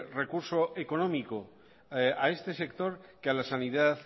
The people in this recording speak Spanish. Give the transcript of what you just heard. recurso económico a este sector que a la sanidad